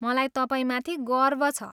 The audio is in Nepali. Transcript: मलाई तपाईँमाथि गर्व छ।